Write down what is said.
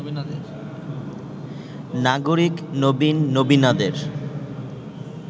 নাগরিক নবীন নবীনাদের